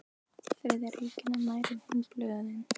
Þriðja ríkinu nær en hin blöðin.